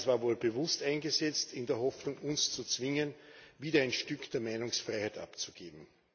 Das war wohl bewusst eingesetzt in der Hoffnung, uns zu zwingen, wieder ein Stück der Meinungsfreiheit abzugeben.